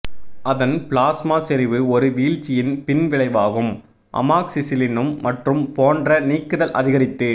அதன் பிளாஸ்மா செறிவு ஒரு வீழ்ச்சியின் பின்விளைவாகும் அமாக்சிசிலினும் மற்றும் போன்ற நீக்குதல் அதிகரித்து